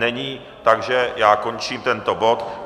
Není, takže já končím tento bod.